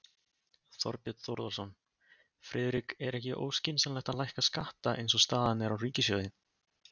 Þorbjörn Þórðarson: Friðrik er ekki óskynsamlegt að lækka skatta eins og staðan er á ríkissjóði?